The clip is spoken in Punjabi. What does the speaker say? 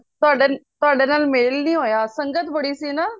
ਤੁਹਾਡੇ ਨਾਲ ਮੇਲ ਹੀ ਨਹੀਂ ਹੋਇਆ ਸੰਗਤ ਬੜੀ ਸੀ ਨਾ